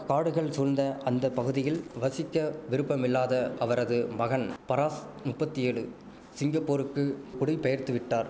காடுகள் சூழ்ந்த அந்த பகுதியில் வசிக்க விருப்பமில்லாத அவரது மகன் பராஸ் முப்பத்தியெழு சிங்கப்பூருக்கு குடிபெயர்த்துவிட்டார்